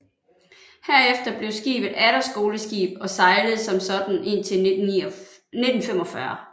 Herefter blev skibet atter skoleskib og sejlede som sådant indtil 1945